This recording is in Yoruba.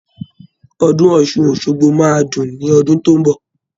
Ọdún Ọ̀ṣun Òṣogbo máa dùn ní ọdún tó ń bọ̀